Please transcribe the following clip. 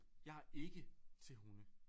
Jeg er ikke til hunde